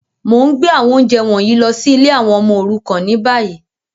Mo n gbé àwọn ounjẹ wọ̀nyí lọ si ìlé àwon ọmọ òrukàn ni bayi.